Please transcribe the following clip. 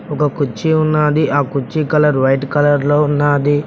ఒక కుర్చీ ఉన్నాది ఆ కుర్చీ కలర్ వైట్ కలర్ లో ఉన్నాది.